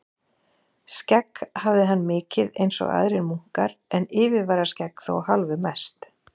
Skegg hafði hann mikið einsog aðrir munkar, en yfirvararskegg þó hálfu mest.